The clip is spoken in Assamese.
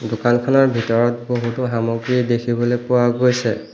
দোকানখনৰ ভিতৰত বহুতো সামগ্ৰী দেখিবলৈ পোৱা গৈছে।